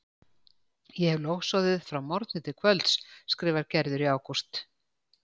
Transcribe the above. Ég hefi logsoðið frá morgni til kvölds skrifar Gerður í ágúst.